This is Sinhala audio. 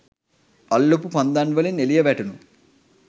අල්ලපු පන්දන් වලින් එලිය වැටුනු